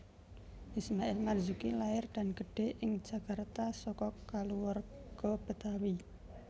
Ismail Marzuki lair dan gedhé ing Jakarta saka kulawarga Betawi